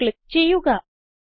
save click ചെയ്യുക